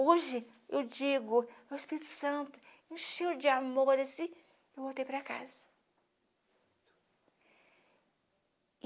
Hoje, eu digo, meu Espírito Santo, encheu de amor, assim, eu voltei para casa.